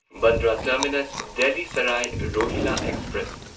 Bandra terminus Delhi Sarai Rohilla express